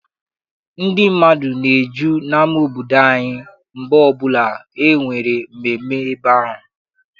Ndị mmadụ na-eju n'ama obodo anyị mgbe ọbụla enwere mmemme ebe ahụ.